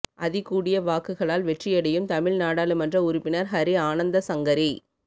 அதிகூடிய வாக்குகளால் வெற்றியடையும் தமிழ் நாடாளுமன்ற உறுப்பினர் ஹரி ஆனந்தசங்கரி